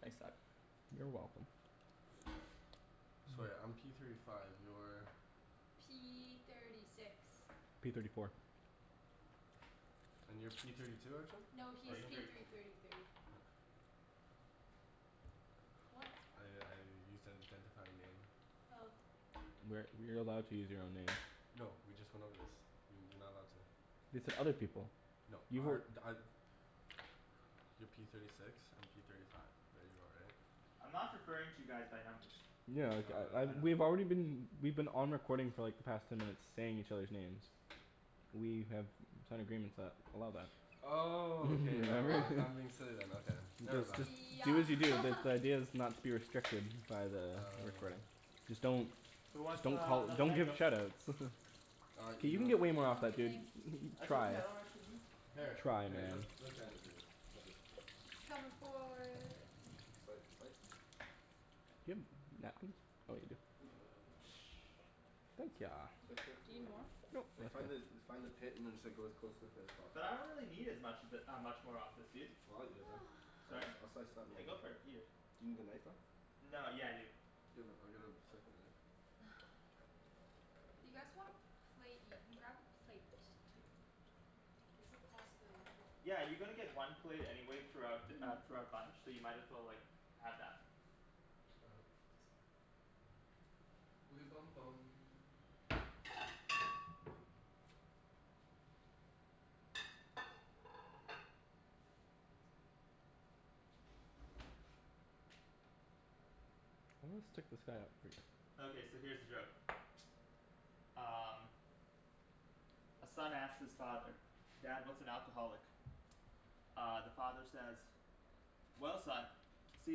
Thanks bud. You're welcome. So right, I'm P thirty five, you're P thirty six P thirty four And you're P thirty two, Arjan? No, he's Thirty Arjan? P three thirty thirty three. What? I I used that to identify your name. Oh. We're you're allowed to use your own name. No, we just went over this. You- you're not allowed to. They said other people. No You were our You're P thirty six, I'm P thirty five. There you go right? I'm not referring to you guys by numbers. Yeah like I I uh we've already been we've been on recording for like the past ten minutes saying each others' names. We have signed agreements that allow that. Oh, okay all right, I'm being remember? silly then, okay. Never Just mind. just do Yeah as you do because the idea is not to be restricted by the recording. Just don't Who wants Don't uh call, another don't give mango? shout outs. K, you can get No way more off I'm that, good, dude. thanks. That's Try. okay, I don't actually need Here, Try let man let It's comin' for Sli- slice? It's like Do something you need like more? Like find the find the pit and just go as close to the pit as possible. But I don't really need as much of it uh much more of this, dude. Well I'll eat it then. I'll Sorry? jus- I'll slice Yeah, go for it, eat it. Do you need the knife though? No, yeah I do. Do you have a- I'll get a second knife. You guys want a plate, you can grab a plate, too. Like it's a possibility. Yeah, you're gonna get one plate anyway throughout uh throughout bunch, so you might as well like have that. All right. Woody Bum Bum Okay, so here's a joke Um A son asks his father, "Dad, what's an alcoholic?" Uh the father says "Well son, see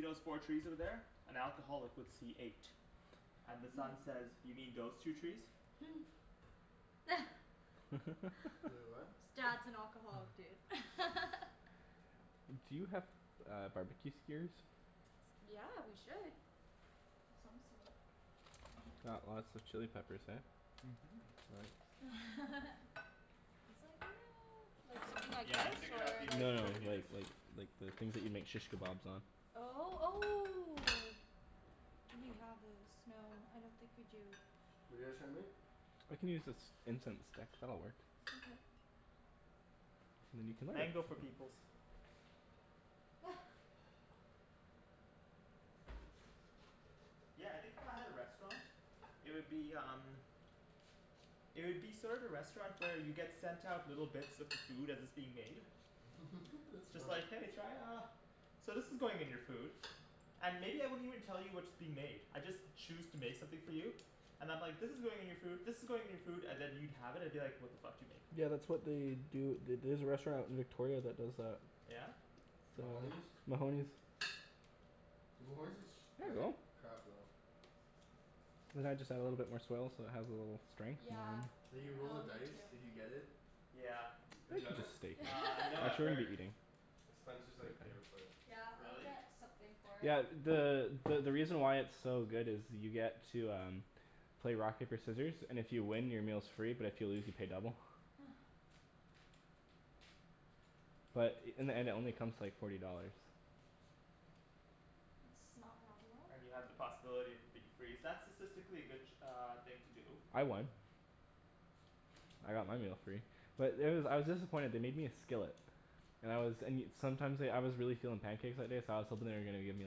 those four trees over there? An alcoholic would see eight." And the son says "You mean those two trees?" Wai- , what? Dad's an alcoholic dude Do you have uh barbecue skewers? Yeah, we should Of some sort Got lots of chili peppers eh? It's like no, like something like Yeah, I this? figured out the Or like No efficient no way to do this. like like like the things that you make shish kebabs on Oh, oh Do we have this? No, I don't think we do. What're you guys trying to make? I can use this incense stick, that'll work. Okay. And then you can light it. Mango for peoples. Yeah, I think if I had a restaurant, it would be um It would be sort of the restaurant where you get sent out little bits of the food as it's being made That's It's smart like "Hey, try uh" "So this is going in your food" And maybe I wouldn't even tell you what's being made. I'd just choose to make something for you. And I'm like "this is going in your food, this is going in your food" and then you'd have it and be like "what the fuck did you make?" Yeah that's what they do at the- there's a restaurant in Victoria that does that. Mahoney's? Mahoney's Dude, Mahoney's is sh- There you like go. Perfect. crap though. And then I just I add little bit more swell so it has a little strength Yeah, Like you roll a oh me dice if too. you get it. Yeah. Have you It's done just a it? steak knife. Uh no I've That's where we'll heard be eating. It's Spencer's like favorite place. Yeah, I'll Really? get something for it. Yeah, the the the reason why it's so good is you get to um play rock paper scissors and if you win your meal's free but if you lose you pay double. But in the end it only comes to like forty dollars. It's not bad at all. And you have the possibility of it being free, is that statistically a good uh thing to do? I won. I got my meal free. But there was, I was disappointed, they made me a skillet. And I was and you, sometimes like, I was really feelin' pancakes that day so I was hopin' they were gonna give me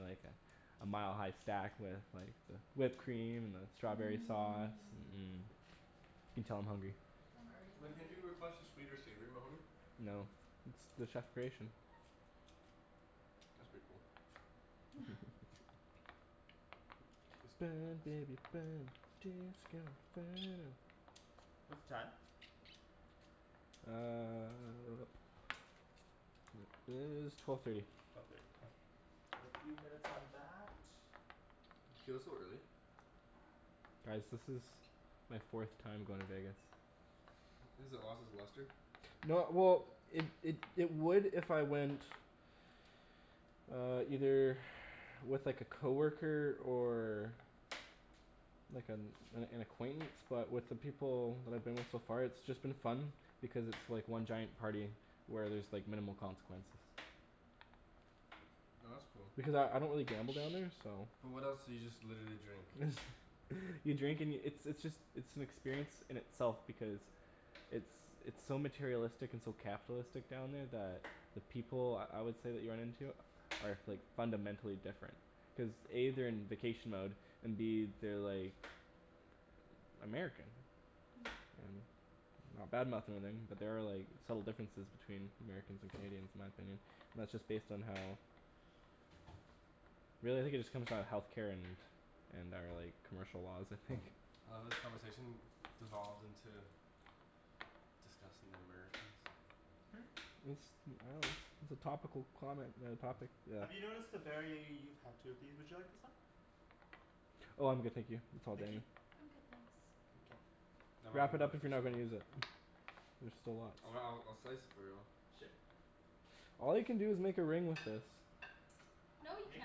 like a a mile-high stack with like the whipped cream and the strawberry sauce, Mmm mm You can tell I'm hungry. I'm already Like can't you hungry. request a sweet or savory Mahoney? No, it's the chef creation. That's pretty cool. Burn baby burn disco inferno What's the time? Uh It is twelve thirty. Another few minutes on that. It feels so early. Guys this is my fourth time going to Vegas. Has it lost its luster? No well it it it would if I went Uh either with like a coworker or like an an an acquaintance but with the people that I've been with so far it's been just fun because it's just like one giant party where there's like minimal consequences. Oh that's cool. Because I I don't really gamble down there so But what else, so you just literally drink? You drink and yo- it's it's just it's an experience in itself because it's it's so materialistic and so capitalistic down there that the people I would say that you run into are like fundamentally different cuz A they're in vacation mode and B they're like American. Not badmouthing or anything but there are like subtle differences between Americans and Canadians in my opinion and that's just based on how really I think it just comes down to healthcare and our like commercial laws I think. I love how this conversation devolved into discussing the Americans. Hmm? I dunno it's a topical comment on a topic that Have you noticed a very, you've had two of these, would you like this one? Oh I'm good, thank you, it's all Nikki? dandy. I'm good, thanks. Okay. No Wrap it up if you're not gonna use it. There's still lots. Oh I'll I'll slice it for you. Sure. All you can do is make a ring with this. No you Make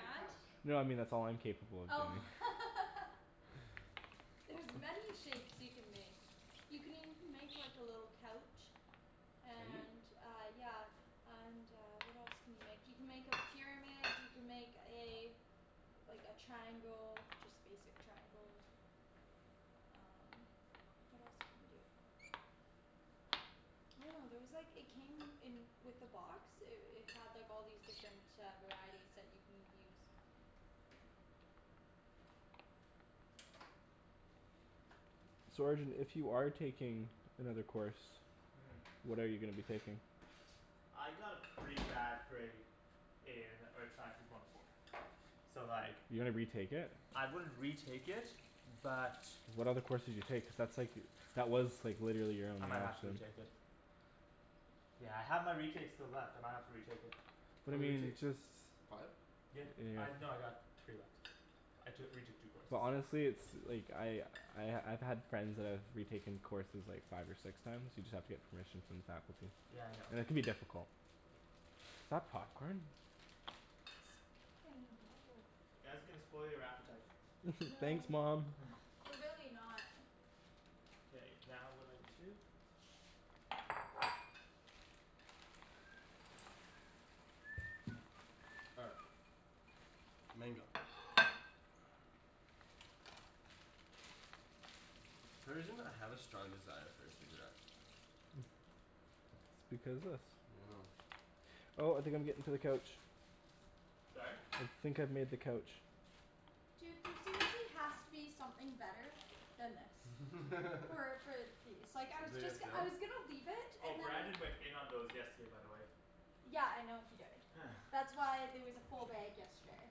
a couch. No I mean that's all I'm capable of Oh doing. There's many shapes you can make. You can even make like a little couch. Can you? And uh, yeah And uh what else can you make, you can make a pyramid you can make a Like a triangle, just basic triangle. Um what else can you do? I dunno, there was like, it came in with the box, it it had like all these different uh varieties that you can use. So Arjan if you are taking another course Mm What are you gonna be taking? I got a pretty bad grade in earth sciences one oh four, so like You're gonna retake it? I wouldn't retake it but What other courses you take? Cuz that's like, that was like literally your I only might have to option. retake it. Yeah I have my retakes still left, I might have to retake it. What How do many you mean? retakes? Just Five? Yeah, I, no I got three left, I took retook two courses. Well honestly it's like, I I I've had friends that have retaken courses like five or six times you just have to get permission from the faculty Yeah, I know. and it can be difficult. Is that popcorn? In the bowl You guys are gonna spoil your appetite. Thanks No. mom. We're really not K, now what do I need to do? All right. Mango For some reason I have a strong desire for a cigarette. Because this I dunno. Oh I think I'm getting to the couch. Sorry? I think I've made the couch. Dude there seriously has to be something better than this. So like I was Is it just I was gonna leave it Oh, and then Brandon went in on those yesterday by the way. Yeah I know he did, that's why there was a full bag yesterday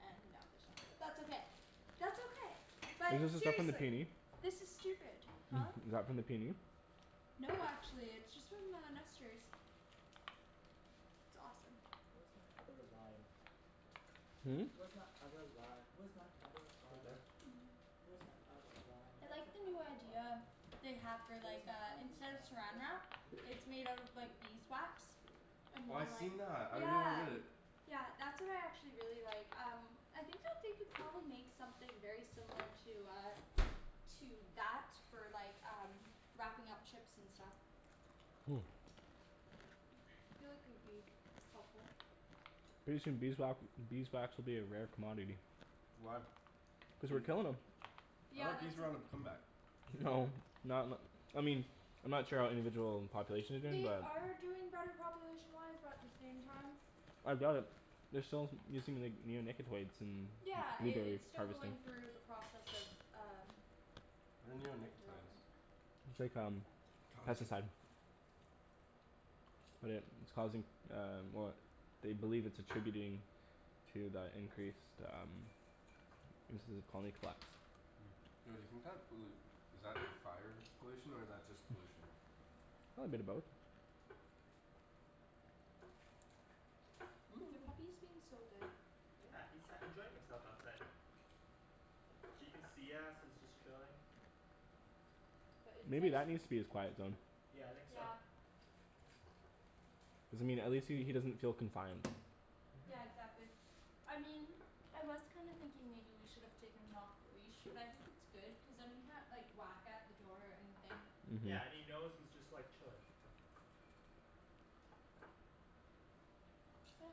and now there's not, but that's okay, that's okay, Is but this the stuff from the seriously, PNE? this is stupid. Huh? Is that from the PNE? No, actually, it's just from uh Nester's. It's awesome. Where's my other lime? Hm? Where's my other lime? Where's my other lime? Where's my other lime? I That's like an the new apple idea lime. they have for Where's like my uh other instead of lime? saran Where's my wrap other it's made out of lime? like beeswax. And Oh I've like, seen that, I really yeah. wanted it. Yeah that's what I actually really like um I think that they could probably make something very similar to uh To that for like um wrapping up chips and stuff. I feel like it would be helpful. Pretty soon beeswa- beeswax will be a rare commodity. Why? Cuz we're killin' 'em. I Yeah thought that's bees were on a a comeback. No, not n- I mean, I'm not sure how individual populations are doing They but are doing better population wise but at the same time I doubt it, they're still using like neonicotoids in Yeah, it blueberry it's still harvesting. going through the process of um What are like neonicotoids? development. It's like um, God pesticide But it it's causing um well they believe it's attributing to the increased um instances of colony collapse. Yo do you think that pollu- is that fire pollution or is that just pollution? Oh a bit of both. The puppy's being so good. Yeah, he's sat enjoying himself outside. He can see us, he's just chilling. But it's Maybe nice. that needs to be his quiet zone. Yeah, I think so. Yeah. Doesn't mean at least he he doesn't feel confined. Yeah exactly, I mean I was kind of thinking maybe we should have taken him off the leash but I think it's good cuz then he can't like whack at the door or anything. Mhm Yeah, and he knows he's just like chilling. Yeah.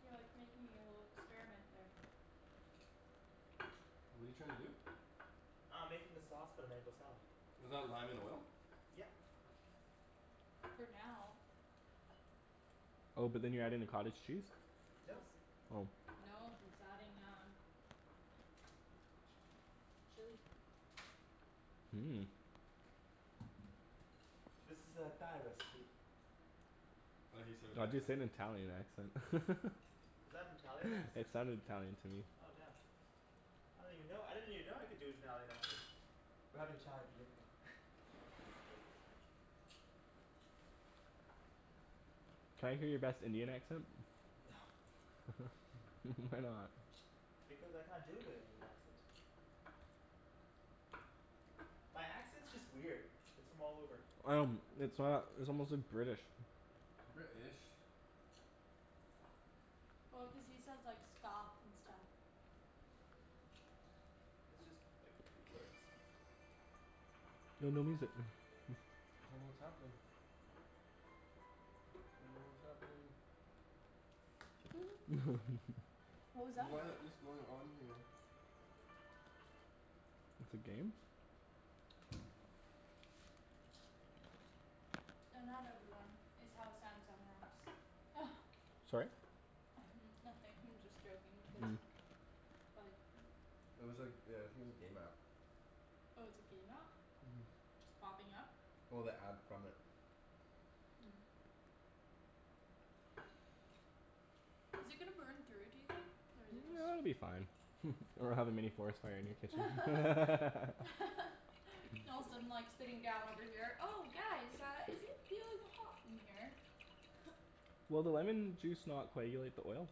You're like making a little experiment there. What're you trying to do? Uh I'm making the sauce for the mango salad. Is that lime and oil? Yep. For now Oh but then you're adding the cottage cheese? Nope. Oh No, he's adding um Chili Mmm This is a Thai recipe. I love how you say it with the Why'd you say accent. it in an Italian accent? Is that an Italian accent? It sounded Italian to me. Oh damn. I don't even know, I didn't even know I could do an Italian accent. We're having Thai for dinner though. Can I hear your best Indian accent? No. why not? Because I can't do a good Indian accent. My accent's just weird, it's from all over. Um it's not, it's almost like British. British Well cuz he says like "skahf" and stuff. It's just like three words. No no music I don't know what's happening. Don't know what's happening. What was that What about? is going on here? It's a game? No not everyone, it's how Samsung apps Sorry? Nothing I'm just joking cuz Like It was like uh it was a game app. Oh it's a game app? Mhm Popping up? Well, the ad from it. Is it gonna burn through, do you think? Or is it gonna s- It'll be fine or we'll have a mini forest fire in your kitchen All of a sudden like sitting down over here, "Oh guys uh is it feeling hot in here?" Will the lemon juice not coagulate the oil?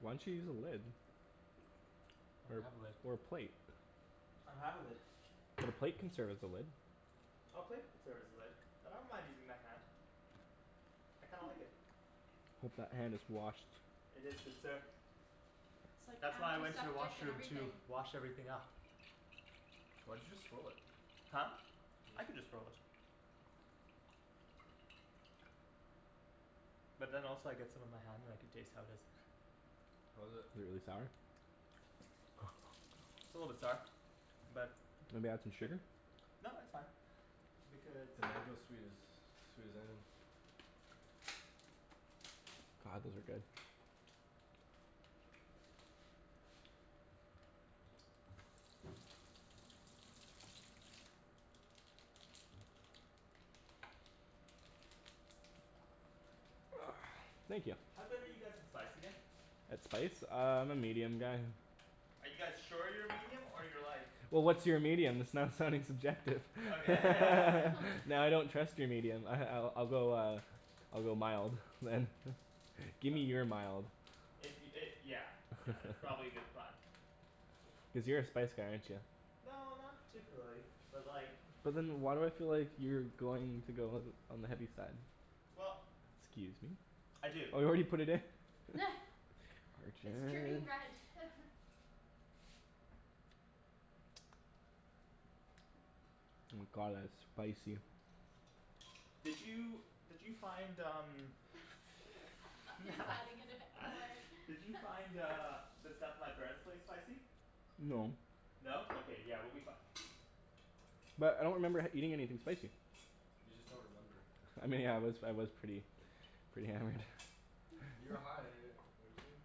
Why don't you use a lid? I Or don't have a lid. a or a plate? I don't have a lid. The plate can serve as a lid. Oh plate could serve as a lid, but I don't mind using my hand. I kinda like it. Hope that hand is washed. It is, good sir. Like That's why I went to the antiseptic and washroom to everything. wash everything up. Why'd you just throw it? Huh? I can just throw it. But then also I get some on my hand and I can taste how it is. How is it? Really sour. It's a little bit sour. But, Maybe add some shit sugar? No, it's fine. Because The mango's sweet as, sweet as anything. God, those are good. Thank ya. How good are you guys with spice again? That spice? Uh I'm a medium guy. Are you guys sure you're medium or you're like Well what's your medium? That's not sounding subjective Okay Now I don't trust your medium ah I I'll go uh I'll go mild, man. Gimme your mild. If y- it yeah yeah that's probably a good plan. Cuz you're a spice guy, aren't ya? No not particularly, but like But then why do I feel like you're going to go all th- on the heavy side? Well Excuse me? I do It's turning Arjan red Oh my god, that's spicy. Did you did you find um He's adding in it more in Did you find uh the stuff at my parents' place spicy? No. No? Okay, yeah we'll be fine. But I don't remember eating anything spicy. You just don't remember. I mean I was I was pretty pretty hammered. You were high, weren't you?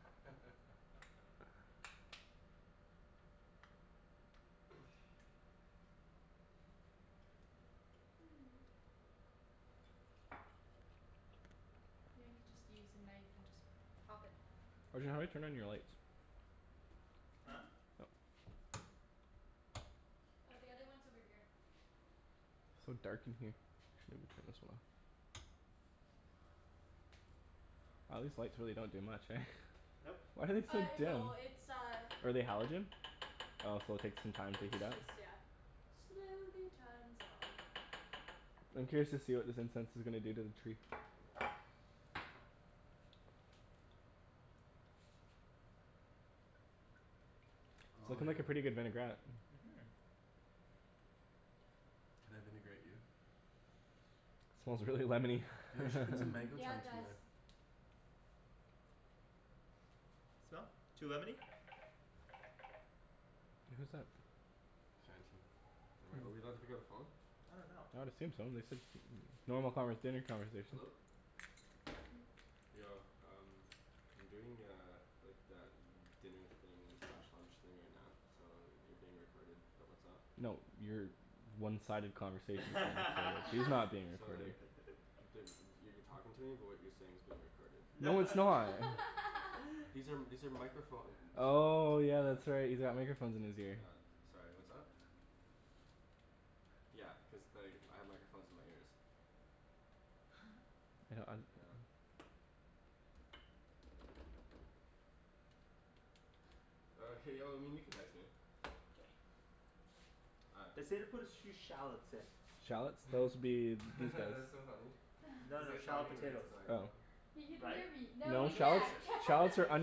You know you could just use a knife and just pop it. Arjan, how do I turn on your lights? Huh? Hmm? Yeah. Oh, the other one's over here. So dark in here. Maybe we'll turn this one on. Aw these lights don't really do much eh? Nope. Why are they so Uh it dim? will, it's uh Are they halogen? Oh so it'll take some time to heat It's up? just yeah, slowly turns on. I'm curious to see what this incense is gonna do to the tree. It's Oh lookin' yeah. like a pretty good vinaigrette. Mhm Can I vinaigrette you? Smells really lemony Yo, you should put some Mm, mango yeah it chunks in does. there. So? Too lemony? Who's that? Am I, are we allowed to pick up the phone? I dunno. I would assume so, they said normal conver- dinner conversation. Hello? Yo, um I'm doing uh like that dinner thing slash lunch thing right now so you're being recorded but what's up? No, your one-sided conversation is being recorded. He's not being So recorded. like you're talking to me but what you're saying is being recorded. No No it's not. These are these are microphone Oh yeah, that's Yeah. right, he's got microphones in his ear. Yeah, sorry what's up? Yeah, cuz like I have microphones in my ears. Oh hey y- well I mean you can text me. All right, They peace. say to put a sh- few shallots in. Shallots? Those'll be That's so funny No, he's no like shallot talking right potatoes. to the Oh microphone. He can Right? hear me, But no No, I'm he gonna shallots skip can't it. I'm gonna shallots are skip the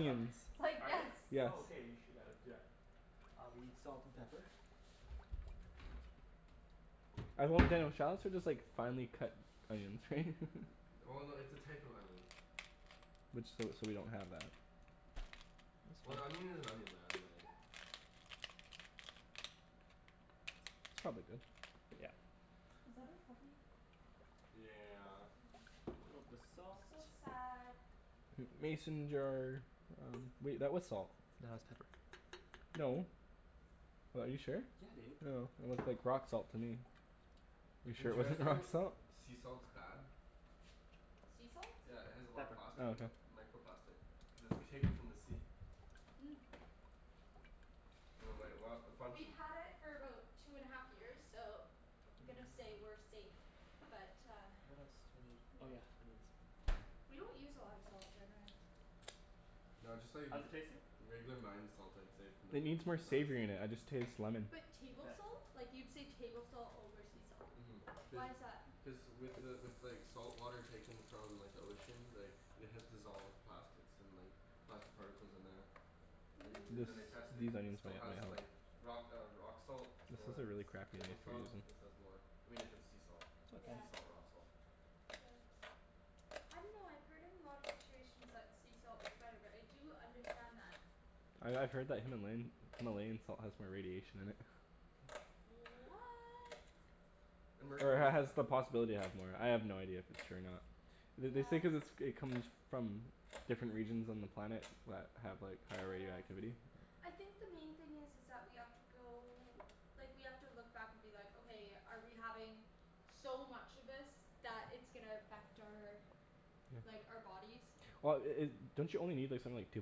shop. like Are they? yes Yes. Oh okay, you should, yeah let's do that. I'll be salt and pepper. I hope they don't, shallots are just like finely cut onions right? Well no, it's a type of onion. Which, so so we don't have that. That's Well an fine. onion is an onion man, like It's not a big deal. Yeah. Was that our puppy? Yeah. Little bit of salt. So sad. Mason jar. Wait, that was salt. No, that's pepper. No. What, are you sure? Yeah, dude. Oh, it looked like rock salt to me. You're sure Did it you guys wasn't rock know salt? sea salt's bad? Sea salt? Yeah it has a lot of Pepper. plastic Oh, in okay. it. Microplastic. Cuz it's taken from the sea. Mm. And like a lot a bunch We've of had it for about two and a half years, so I'm gonna say we're safe, but uh What else do I need? Oh Yep. yeah, onions. We don't use a lot of salt generally. No I just thought you'd How's v- it tasting? regular mined salt I'd say from the, It needs is more the best. savory in it. I just taste lemon. But table Mkay. salt? Like you'd say table salt over sea salt. Mhm. Cuz Why is that? Cuz with the with like salt water taken from like the ocean like it has dissolved plastics and like plastic particles in there. They This then they tested it. these Mmm. It onions might still has need help. like rock uh rock salt This is a or really crappy table knife you're salt. using. This has more. I mean if it's sea salt, Yeah. Okay sea salt rock salt. Yeah. I dunno, I've heard in a lot of situations that sea salt is better, but I do understand that. I I've heard that Himalayan Himalayan salt has more radiation in it. What! And Or it mercury and ha- has stuff. the possibility to have more. I have no idea if it's true or not. Th- they say Yeah. cuz it's it comes from different regions on the planet that have like higher Yeah. radioactivity. I think the main thing is is that we have to go, like we have to look back and be like "Okay, are we having so much of this that it's gonna affect our like, our bodies?" Well i- i- don't you only need like something like two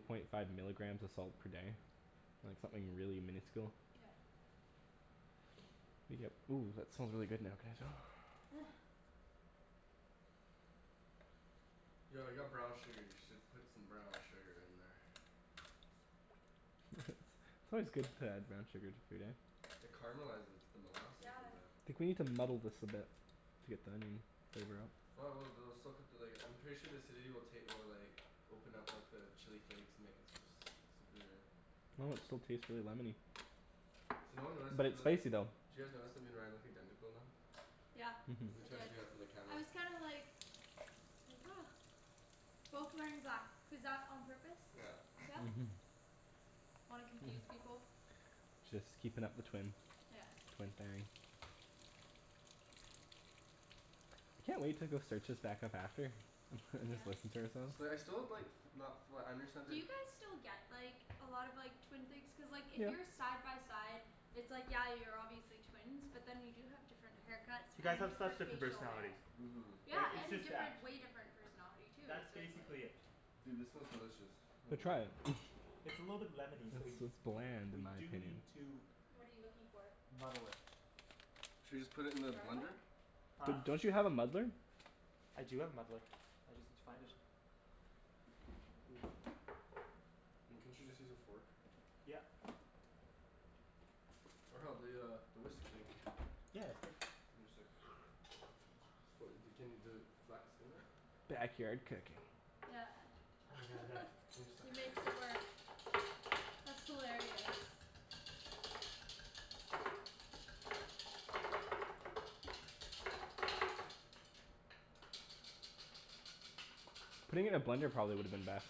point five milligrams of salt per day? Like something really minuscule? Yep. Ooh, that smells really good now, can I smell? Yo I got brown sugar. You should put some brown sugar in there. It's always good to add brown sugar to food, eh? It caramelizes. It's the molasses Yeah. in there. I think we need to muddle this a bit to get the onion flavor out. No I will, they'll still cut the like, I'm sure the acidity will take will like open up like the chili flakes and make it super s- super Well, it still tastes really lemony. So no one realized that But we it's look. Did spicy though. you guys notice that me and Ryan look identical now? Yeah We I Mhm. tried to did. do that for the camera. I was kinda like Like Both wearing black. Was that on purpose? Yeah. Yeah? Mhm. Wanna confuse people? Just keepin' up the twin Yeah. Twin thing. I can't wait to go search us back up after and just Yes. listen to ourselves. So like I still have like not flat understand Do their you guys still get like a lot of like twin things? Cuz like if Yeah. you're side by side it's like, yeah you're obviously twins, but then you do have different haircuts You guys and have such different different facial personalities. hair. Mhm. Yeah, Like, it's and just that different, way different personality too, That's so it's like basically it. Dude, this smells delicious No, try it. It's a little bit lemony, so we It's it's bland in We my do opinion. need to What are you looking for? muddle it. Should we just put it in the blender? Garlic? D- Huh? don't you have a muddler? I do have a muddler. I just need to find it I mean, couldn't you just use a fork? Yep. Or hell, the uh the whisk thing. Yeah, that's good. Then you just like So wh- y- d- can you does it, flax in there? Backyard cooking. Yeah Oh my god, yes. And just He makes it work. like That's hilarious. Putting it in a blender probably woulda been best.